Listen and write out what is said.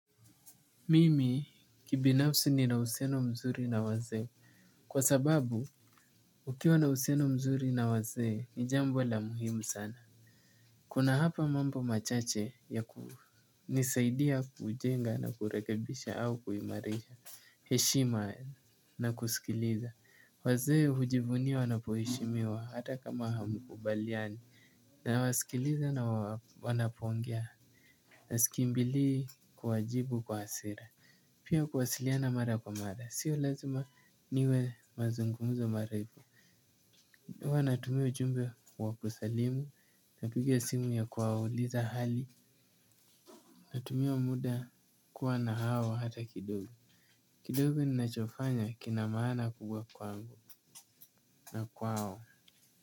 Mimi kibinafsi ninauhusiano mzuri na wazee. Kwa sababu ukiwa na uhusiano mzuri na wazee ni jambo la muhimu sana. Kuna hapa mambo machache ya kunisaidia, kujenga na rekebisha au kuimarisha. Heshima na kusikiliza. Wazee hujivunia wanapoheshimiwa hata kama hamkubaliani. Nawasikiliza na wanapoongea. Na sikimbilii kuwajibu kwa hasira. Pia kuwasiliana mara kwa mara, sio lazima niwe mazungumzo marefu. Huwa nawatumia ujumbe wa kusalimu. Napiga simu ya kuwauliza hali. Natumia muda kuwa na hawa hata kidogo. Kidogo ninachofanya kinamaana kubwa kwangu na kwao.